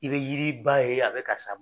I be yiriba ye a bɛ ka sa